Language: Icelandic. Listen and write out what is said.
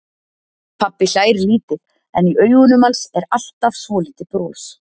Pabbi hlær lítið en í augunum hans er alltaf svolítið bros.